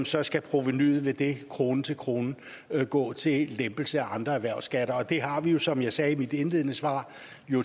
så skal provenuet ved det krone til krone gå til lempelse af andre erhvervsskatter og det har vi jo som jeg sagde i mit indledende svar